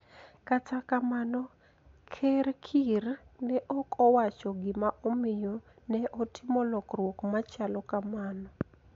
Kata kamano ker Kiir ne ok owacho gima omiyo ne otimo lokruok machalo kamano